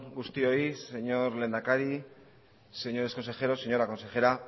guztioi señor lehendakari señores consejeros señora consejera